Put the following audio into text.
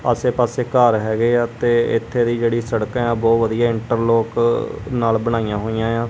ਆਸੇ ਪਾਸੇ ਘਰ ਹੈਗੇ ਆ ਤੇ ਇੱਥੇ ਦੀ ਜਿਹੜੀ ਸੜਕ ਹੈ ਬਹੁਤ ਵਧੀਆ ਇੰਟਰ ਲੋਕ ਨਾਲ ਬਣਾਈਆਂ ਹੋਈਆਂ ਆ।